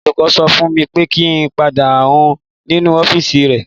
Olùkọ́ sọ fún mi pé kí n pàdé òun nínú ọ́fíìsì rẹ̀.